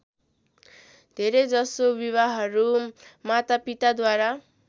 धेरैजसो विवाहहरू मातापिताद्वारा